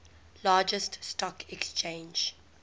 largest stock exchange